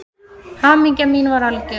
Hamingja mín var algjör.